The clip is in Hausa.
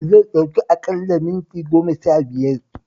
Zai ɗauki aƙalla minti goma-shabiyar